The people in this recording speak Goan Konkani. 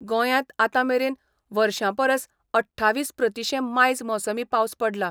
गोंयांत आतांमेरेन वर्षांपरस अठ्ठावीस प्रतिशें मायज मोसमी पावस पडला.